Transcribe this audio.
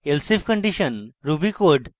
elsif condition ruby code